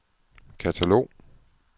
katalog